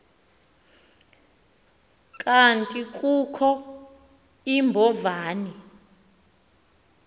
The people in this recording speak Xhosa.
kanti kukho iimbovane